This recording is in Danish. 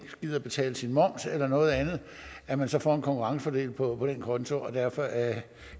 gider betale sin moms eller noget andet at man så får en konkurrencefordel på den konto derfor er